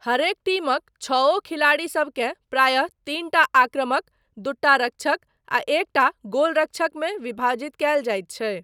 हरेक टीमक छओ खिलाड़ीसबकेँ प्रायः तीनटा आक्रमक, दूटा रक्षक आ एकटा गोलरक्षक मे विभाजित कयल जाइत छै।